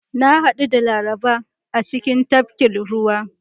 Na hadu da Laraba a cikin tafkin ruwa.